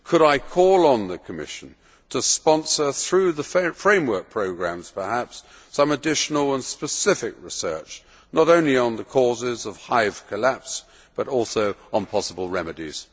Could I call on the Commission to sponsor, through the framework programmes perhaps, some additional and specific research, not only on the causes of hive collapse but also on possible remedies?